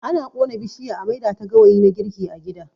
Ana ƙona bishiya a maida ta gawayi na girki a gida.